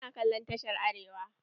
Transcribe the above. Muna kallon tashar Arewa.